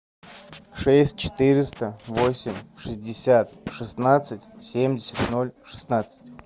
шесть четыреста восемь шестьдесят шестнадцать семьдесят ноль шестнадцать